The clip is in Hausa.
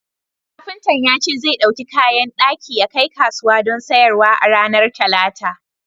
Kafintan ya ce zai ɗauki kayan daki yakai kasuwa don sayarwa a ranar Talata.